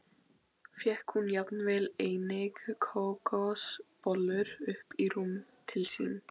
Fékk hún jafnvel einnig kókosbollur upp í rúm til sín.